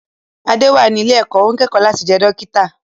Adé wà ní ilé-ẹ̀kọ́, ó ń kẹ́kọ̀ọ́ láti jẹ́ dókítà.